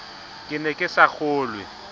ke ne ke sa kgolwe